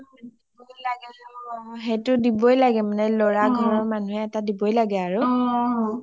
অ দিবয়ে লাগে অ, সেইটো দিবয়ে লাগে মানে লৰা ঘৰৰ মানুহে এটা দিবয়ে লাগে , দিবই লাগে আৰু